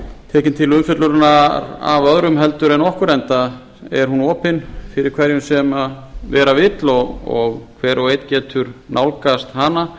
tekin til umfjöllunar af öðrum heldur en okkur enda er hún opin fyrir hverjum sem vera vill og hver og einn getur nálgast hana